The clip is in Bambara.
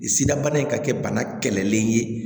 Sida bana in ka kɛ bana kɛlɛlen ye